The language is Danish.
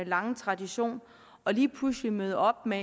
lange tradition og lige pludselig møde op med